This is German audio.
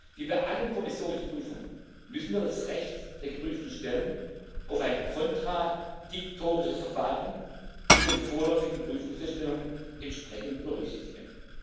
Wie bei allen Kommissionsprüfungen müssen wir das Recht der geprüften Stellen auf ein kontradiktorisches Verfahren zu den vorläufigen Prüfungsfeststellungen entsprechend berücksichtigen.